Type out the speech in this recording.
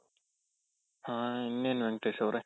ಹಾ ಇನ್ನೇನ್ ವೆಂಕಟೇಶ್ ಅವ್ರೆ.